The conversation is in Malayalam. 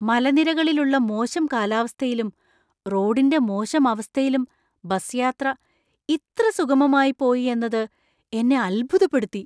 മലനിരകളിലുള്ള മോശം കാലാവസ്ഥയിലും റോഡിന്‍റെ മോശം അവസ്ഥയിലും ബസ് യാത്ര ഇത്ര സുഗമമായി പോയി എന്നത് എന്നെ അത്ഭുതപ്പെടുത്തി!